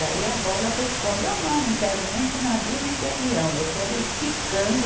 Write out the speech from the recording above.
Daí a bola responde, eu não, não quero nem de navio nem de avião, eu quero ir quicando